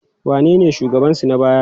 Wanene shugabansu na baya?